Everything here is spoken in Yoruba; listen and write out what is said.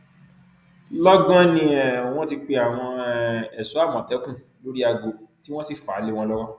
lọgán ni um wọn ti pe àwọn um ẹṣọ àmọtẹkùn lórí aago tí wọn sì fà á lé wọn lọwọ